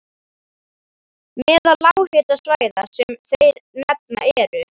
Meðal lághitasvæða sem þeir nefna eru